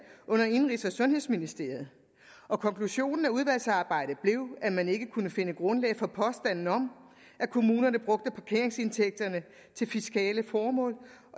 under indenrigs og sundhedsministeriet og konklusionen af udvalgsarbejdet blev at man ikke kunne finde grundlag for påstanden om at kommunerne brugte parkeringsindtægterne til fiskale formål